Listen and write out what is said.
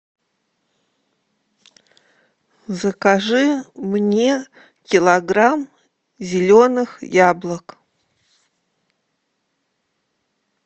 закажи мне килограмм зеленых яблок